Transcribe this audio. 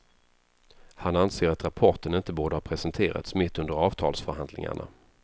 Han anser att rapporten inte borde ha presenterats mitt under avtalsförhandlingarna.